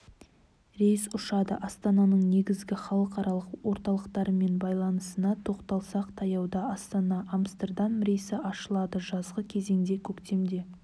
рейс ұшады астананың негізгі халықаралық орталықтармен байланысына тоқталсақ таяуда астана-амстердам рейсі ашылды жазғы кезеңде көктемде